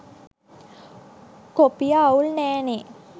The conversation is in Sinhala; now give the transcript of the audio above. කොපිය අවුල් නැ නේ